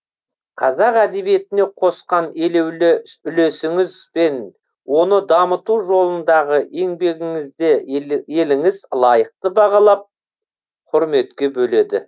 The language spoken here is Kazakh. қазақ әдебиетіне қосқан елеулі үлесіңіз бен оны дамыту жолындағы еңбегіңізде еліңіз лайықты бағалап құрметке бөледі